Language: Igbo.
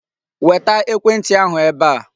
Weta ekwentị ahụ ebe a.